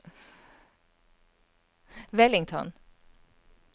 Wellington